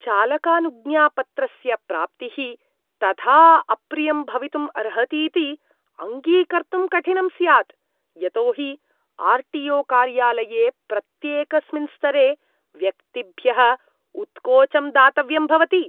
चालकानुज्ञापत्रस्य प्राप्तिः तथा अप्रियं भवितुम् अर्हतीति अङ्गीकर्तुं कठिनम् स्यात्, यतोहि आर् टी ओ कार्यालये प्रत्येकस्मिन् स्तरे व्यक्तिभ्यः उत्कोचं दातव्यम् भवति।